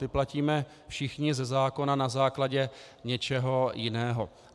Ty platíme všichni ze zákona na základě něčeho jiného.